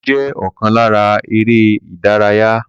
Ijó jẹ́ ọ̀kan lára eré-ìdárayá